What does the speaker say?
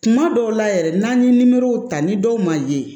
Kuma dɔw la yɛrɛ n'an ye nimorow ta ni dɔw ma ye